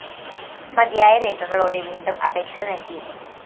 മതിയായ രേഖകളോടെ വീണ്ടും അപേക്ഷ നല്‍കി